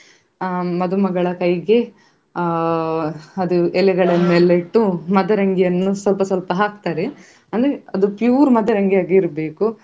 ಅಹ್ ಮದುಮಗಳ ಕೈಗೆ ಅಹ್ ಅದು ಎಲೆಗಳನ್ನೆಲ್ಲ ಇಟ್ಟು ಮದರಂಗಿಯನ್ನು ಸ್ವಲ್ಪ ಸ್ವಲ್ಪ ಹಾಕ್ತಾರೆ ಅಂದ್ರೆ ಅದು pure ಮದರಂಗಿಯಾಗಿ ಇರ್ಬೇಕು.